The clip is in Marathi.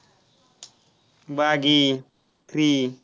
बागी three